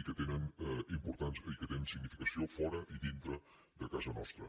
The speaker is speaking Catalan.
i que tenen significació fora i dintre de casa nostra